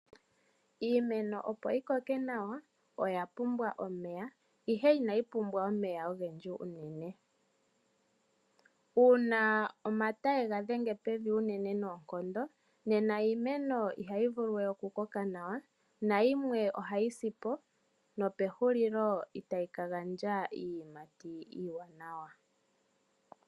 Iimeno opo yi koke nawa oya pumbwa omeya ihe inayi pumbwa omeya ogendji unene. Uuna omata ye ga dhenge pevi unene noonkondo iimeno ihayi vulu we oku koka nawa nayimwe ohayi si po, nopehulilo ihayi ka gandja iiyimati iiwanawa.